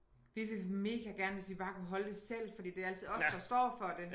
Vi vil mega gerne hvis vi bare kunne holde det selv fordi det altid os der står for det